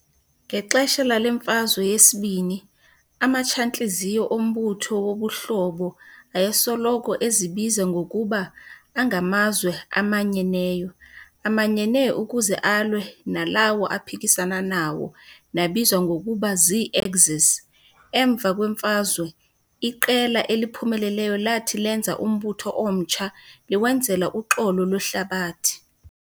Ngexesha lale Mfazwe yesi-II, amatshantliziyo ombutho wobuhlobo ayesoloko ezibiza ngokuba "angamazwe amanyeneyo", amanyene ukuze alwe nalawo aphikisana nawo nabizwa ngokuba zii-axis. Emva kweMfazwe, iqela eliphumeleleyo lathi lenza umbutho omtsha liwenzela uxolo lwehlabathi.